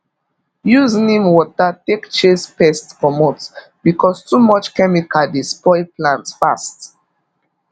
use neem water take chase pest comot because too much chemical dey spoil plant fast